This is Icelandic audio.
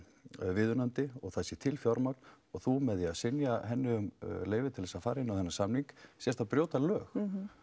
óviðunandi og það sé til fjármagn og þú með því að synja leyfi til þess að fara inn á þennan samning sért að brjóta lög